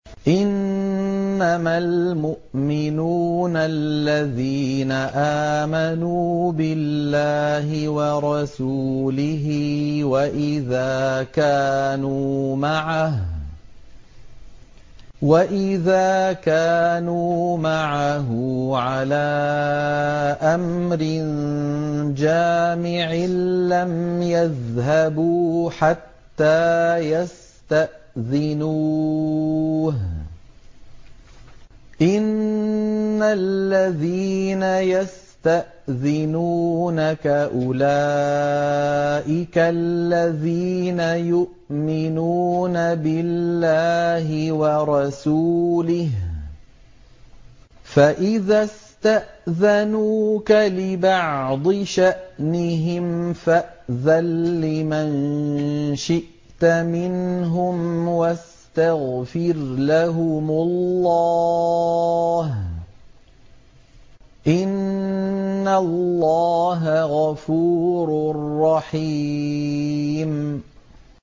إِنَّمَا الْمُؤْمِنُونَ الَّذِينَ آمَنُوا بِاللَّهِ وَرَسُولِهِ وَإِذَا كَانُوا مَعَهُ عَلَىٰ أَمْرٍ جَامِعٍ لَّمْ يَذْهَبُوا حَتَّىٰ يَسْتَأْذِنُوهُ ۚ إِنَّ الَّذِينَ يَسْتَأْذِنُونَكَ أُولَٰئِكَ الَّذِينَ يُؤْمِنُونَ بِاللَّهِ وَرَسُولِهِ ۚ فَإِذَا اسْتَأْذَنُوكَ لِبَعْضِ شَأْنِهِمْ فَأْذَن لِّمَن شِئْتَ مِنْهُمْ وَاسْتَغْفِرْ لَهُمُ اللَّهَ ۚ إِنَّ اللَّهَ غَفُورٌ رَّحِيمٌ